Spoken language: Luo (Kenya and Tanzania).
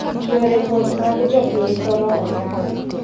Yore wuoth mag jopiny koro oyaw.